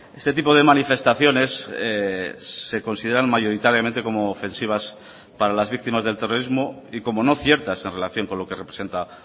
este tipo de manifestaciones se consideran mayoritariamente como ofensivas para las víctimas del terrorismo y como no ciertas en relación con lo que representa